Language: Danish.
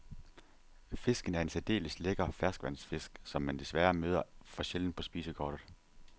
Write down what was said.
Fisken er en særdeles lækker ferskvandsfisk, som man desværre møder for sjældent på spisekortet.